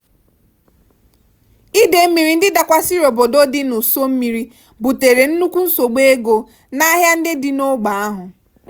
idei mmiri ndị dakwasịrị obodo ndị dị n'ụsọ mmiri butere nnukwu nsogbu ego n'ahịa dị n'ógbè ahụ.